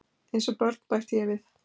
Eins og börn bætti ég við.